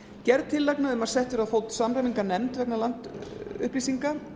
gerð tillagna um að sett verði á fót samræmingarnefnd vegna landupplýsinga